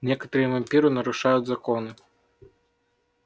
некоторые вампиры нарушают законы